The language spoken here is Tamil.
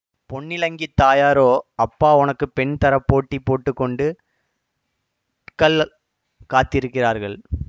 பொன்னிலங்கித் தாயாரோ அப்பா உனக்கு பெண் தர போட்டி போட்டுகொண்டு கள் காத்திருக்கிறார்கள்